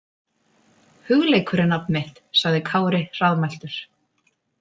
Hugleikur er nafn mitt, sagði Kári hraðmæltur.